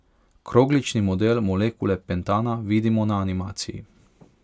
Kroglični model molekule pentana vidimo na animaciji.